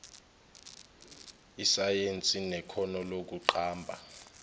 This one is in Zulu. isayensi nekhono lokuqamba